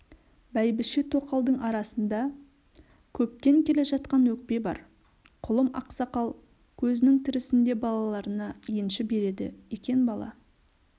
бәйбіше-тоқалдың арасында көптен келе жатқан өкпе бар құлым ақсақал көзінің тірісінде балаларына енші береді екен бала